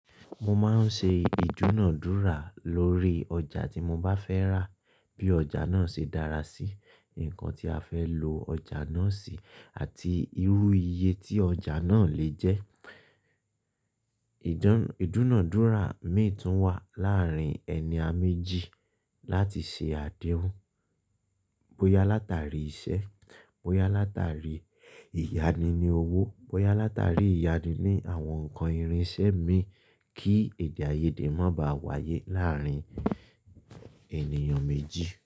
Mo máa ń ṣe ìdúnàádúrà lórí ọjà tí mo bá fẹ́ rà bí ọjà náà ṣe dára sí nǹkan tí a fẹ́ lo ọjà náà sí àti irú iye tí ọjà náà lè jẹ́. Ìdúnàádúrà mi tún wà láàárín ẹni a méjì láti ṣe àdéhùn bóyá látàrí iṣẹ́, bóyá látàrí ìyánni ní owó, bóyá látàrí ìyánni ní àwọn nǹkan ìrinṣẹ́ mi kí èdè-áiyedé má ba à wáyé láàárín ènìyàn méjì.